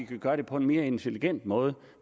kan gøre det på en mere intelligent måde